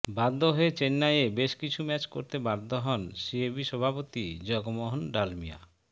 বাধ্য হয়ে চেন্নাইয়ে বেশ কিছু ম্যাচ করতে বাধ্য হন সিএবি সভাপতি জগমোহন ডালমিয়া